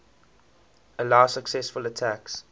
allow successful attacks